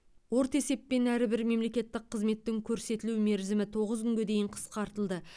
орта есеппен әрбір мемлекеттік қызметтің көрсетілу мерзімі тоғыз күнге дейін қысқартылды